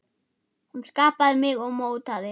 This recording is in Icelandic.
Hún skapaði mig og mótaði.